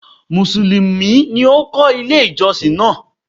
Mùsùlùmí ni ó kọ́ ilé ìjọsìn náà.